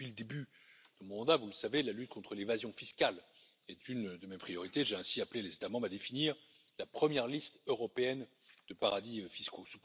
Depuis le début de mon mandat, vous le savez, la lutte contre l'évasion fiscale est une de mes priorités, j'ai ainsi appelé les États membres à définir la première liste européenne de paradis fiscaux.